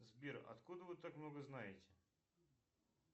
сбер откуда вы так много знаете